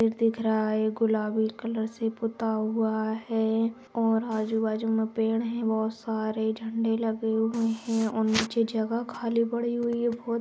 Gate दिख रहा है | गुलाबी कलर से पुता हुआ है और आजू-बाजू में पेड़ है | बहुत सारे झंडे लगे हुए हैं और नीचे जगह खाली पड़ी हुई है बहुत।